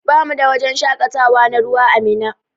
Bamu da wajen shakatawa na ruwa ã Minna.